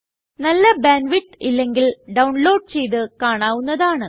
നല്ല bandwidth ഇല്ലെങ്കിൽ download ചെയ്ത് കാണാവുന്നതാണ്